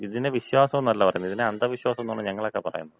പക്ഷെ, ഇതിനെ വിശ്വാസംന്നല്ല പറയുന്നത്, ഇതിനെ അന്ധവിശ്വാസോന്നാണ് ഞങ്ങളൊക്കെ പറയുന്നത്.